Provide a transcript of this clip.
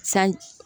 San